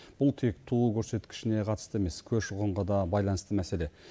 бұл тек туу көрсеткішіне қатысты емес көші қонға да байланысты мәселе